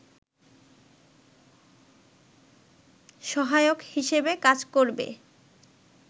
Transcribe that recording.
সহায়ক হিসেবে কাজ করবে